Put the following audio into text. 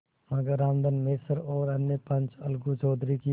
मगर रामधन मिश्र और अन्य पंच अलगू चौधरी की